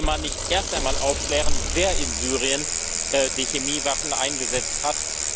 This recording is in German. Sollte man nicht erst einmal aufklären, wer in Syrien die Chemiewaffen eingesetzt hat?